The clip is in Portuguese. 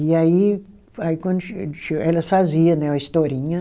E aí, aí quando che che, elas fazia né a historinha.